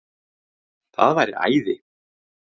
Það væri æði